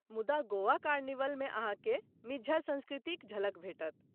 मुदा गोवा कार्निवलमे अहाँ के मिज्झड़ संस्कृतिक झलक भेटत ।